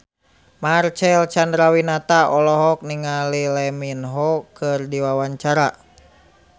Marcel Chandrawinata olohok ningali Lee Min Ho keur diwawancara